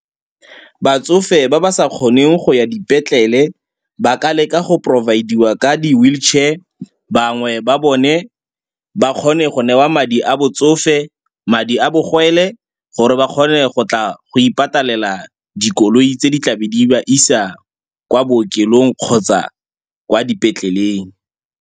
Batsofe ba ba sa kgoneng go ya dipetlele ba ka leka go provide-iwa ka di-wheelchair. Bangwe ba bone ba kgone go newa madi a botsofe, madi a bogwele gore ba kgone go tla go ipatalela dikoloi tse di tla be di ba isa kwa bookelong kgotsa kwa dipetleleng.